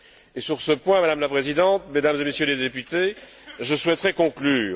C'est sur ce point, Madame la Présidente, Mesdames et Messieurs les députés, que je souhaiterais conclure.